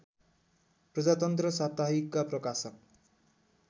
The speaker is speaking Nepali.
प्रजातन्त्र साप्ताहिकका प्रकाशक